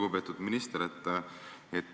Lugupeetud minister!